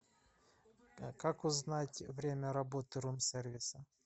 как узнать время работы рум сервиса